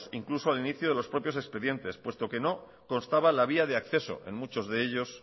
incluso al inicio de los propios expedientes puesto que no constaba la vía de acceso en muchos de ellos